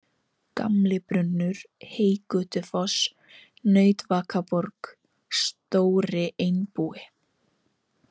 Gamlibrunnur, Heygötufoss, Nautvakaborg, Stóri Einbúi